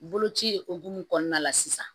Boloci hukumu kɔnɔna la sisan